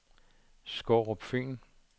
Skårup Fyn